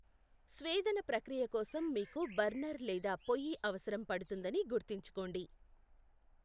స్వేదన ప్రక్రియ కోసం మీకు బర్నర్ లేదా పొయ్యి అవసరం పడుతుందని గుర్తుంచుకోండి.